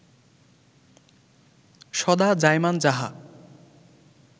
সদা জায়মান যাহা